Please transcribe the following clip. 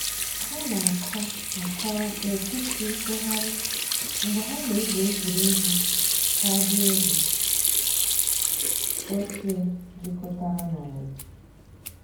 Hà nà-àkọ̀ àkọ̀rò nètìtì ntụ̀ghàrì mgbè hà nà-ègwù ègwè́ré́gwụ̀ kaadị ògè òchìè jìkọ̀tàrà nà òyì.